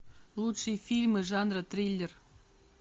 лучшие фильмы жанра триллер